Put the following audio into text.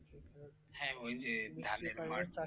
হ্যাঁ ঐ যে ধানের মাঠ,